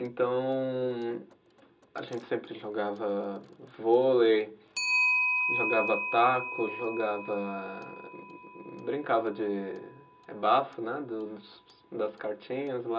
Então, a gente sempre jogava vôlei, jogava taco, jogava, brincava de eh bafo, né, das cartinhas lá.